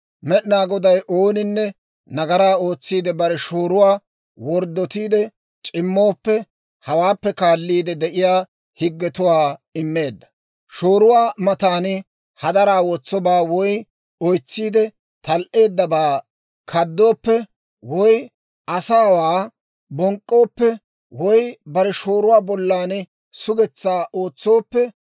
«Med'inaa Goday ooninne nagaraa ootsiide bare shooruwaa worddotiide c'immooppe hawaappe kaaliide de'iyaa higgetuwaa immeedda: shooruwaa matan hadaraa wotsobaa woy oytsiide tal"eeddabaa kaadooppe, woy asaawaa bonk'k'ooppe, woy bare shooruwaa bollan sugetsaa ootsooppe,